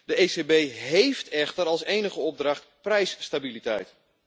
De ECB heeft echter als enige opdracht prijsstabiliteit.